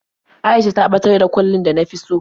A'isha ta ɓatar da kwallin da na fi so.